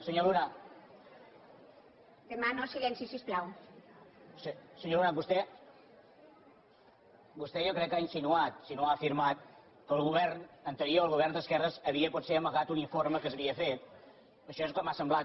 senyor luna vostè jo crec que ha insinuat si no ho ha afirmat que el govern anterior el govern d’esquerres havia potser amagat un informe que s’havia fet això és el que m’ha semblat